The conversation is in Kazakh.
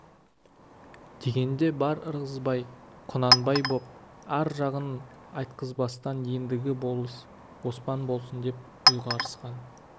дегенде бар ырғызбай құнанбай боп ар жағын айтқызбастан ендігі болыс оспан болсын деп ұйғарысқан